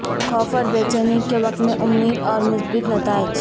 خوف اور بے چینی کے وقت میں امید اور مثبت نتائج